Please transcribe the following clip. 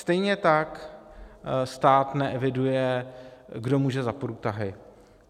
Stejně tak stát neeviduje, kdo může za průtahy.